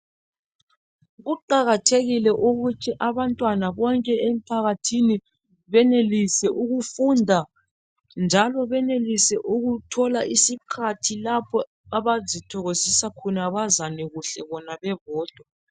Kuqakathekile ukuthi abantwana bonke emphakathini benelise ukufunda njalo benelise ukuthola isikhathi lapho abazithokozisa khona bazane bona bebodwa.